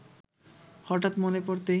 হঠাৎ মনে পড়তেই